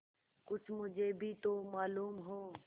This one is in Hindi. कुछ मुझे भी तो मालूम हो